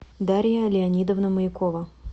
дарья леонидовна маякова